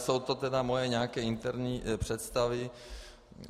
Jsou to tedy moje nějaké interní představy.